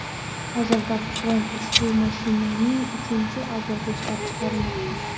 Hozirda Ford ushbu mashinaning uchinchi avlodini ishlab chiqarmoqda.